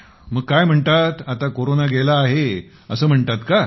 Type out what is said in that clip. मग काय म्हणतात आता कोरोना गेला आहे असं म्हणतात का